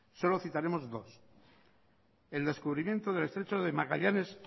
solo citaremos dos el descubrimiento del estrecho de magallanes